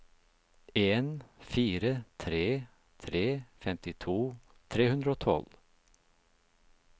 en fire tre tre femtito tre hundre og tolv